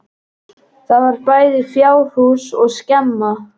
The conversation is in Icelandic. Þar var bæði fjárhús og skemma.